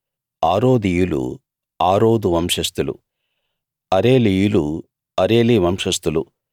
ఆరోదీయులు Arod వంశస్థులు అరేలీయులు Areli వంశస్థులు